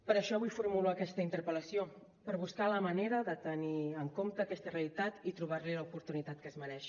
per això avui formulo aquesta interpel·lació per buscar la manera de tenir en compte aquesta realitat i trobar li l’oportunitat que es mereix